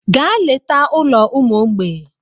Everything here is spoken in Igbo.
Gaa leta ụlọ ụmụ mgbei!